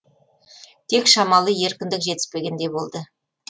тек шамалы еркіндік жетіспегендей болды